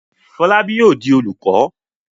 Fọlábí yóò di olùkọ́?